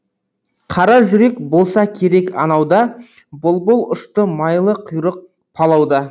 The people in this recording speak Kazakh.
қара жүрек болса керек анау да бұлбұл ұшты майлы құйрық палау да